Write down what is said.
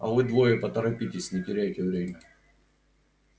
а вы двое поторопитесь не теряйте время